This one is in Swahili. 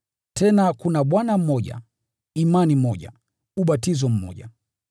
Tena kuna Bwana mmoja, imani moja, ubatizo mmoja,